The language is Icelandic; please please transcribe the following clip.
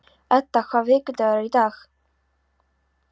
Edda, hvaða vikudagur er í dag?